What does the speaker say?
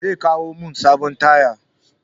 Zai kawo min sabon taya.